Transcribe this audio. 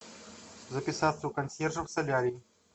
записаться у консьержа в солярий